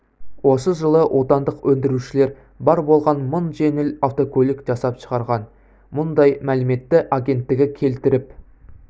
осы жылы отандық өндірушілер бар болған мың жеңіл автокөлік жасап шығарған мұндай мәліметті агенттігі келтіріп